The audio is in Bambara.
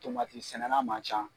sɛnɛnna ma ca